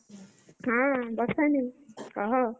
ହୁଁ, ହୁଁ, ବର୍ଷା ଦେଇ କହ,